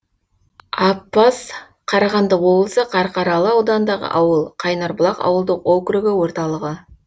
аппаз қарағанды облысы қарқаралы ауданындағы ауыл қайнарбұлақ ауылдық округі орталығы